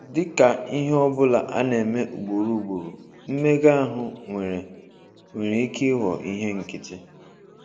Dị ka ihe ọ bụla a na-eme ugboro ugboro, mmega ahụ nwere nwere ike ịghọ ihe nkịtị.